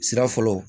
Sira fɔlɔ